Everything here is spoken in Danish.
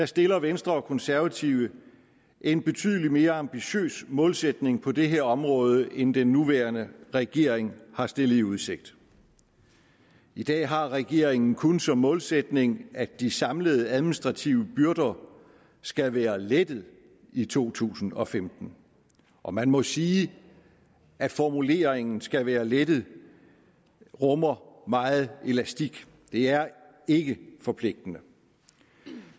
stiller venstre og konservative en betydelig mere ambitiøs målsætning på det her område end den nuværende regering har stillet i udsigt i dag har regeringen kun som målsætning at de samlede administrative byrder skal være lettet i to tusind og femten og man må sige at formuleringen skal være lettet rummer meget elastik det er ikke forpligtende